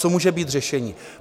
Co může být řešením?